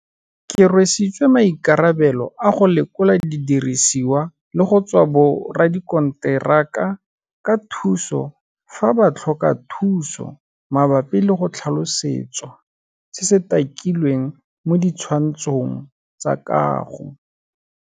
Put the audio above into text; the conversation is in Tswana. Ke rwesitswe maikarabelo a go lekola didirisiwa le go tswa boradikontera ka thuso fa ba tlhoka thuso mabapi le go tlhalosetswa se se takilweng mo di tshwantshong tsa kago.